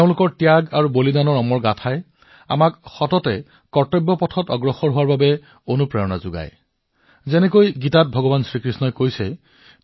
তেওঁলোকৰ ত্যাগ আৰু বলিদানৰ অমৰ কাহিনীবোৰে এতিয়া আমাক সততে এক কৰ্তব্য পথ নিৰ্ধাৰণ কৰাৰ বাবে অনুপ্ৰাণিত কৰক আৰু যিদৰে ভগৱান কৃষ্ণই গীতাত কৈছে